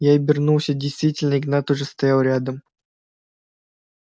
я обернулся действительно игнат уже стоял рядом